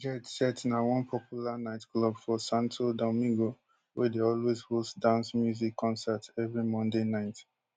jet set na one popular nightclub for santo domingo wey dey always host dance music concert evri monday night